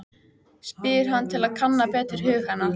spyr hann til að kanna betur hug hennar.